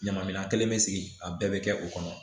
Ɲama minan kelen bɛ sigi a bɛɛ bɛ kɛ o kɔnɔ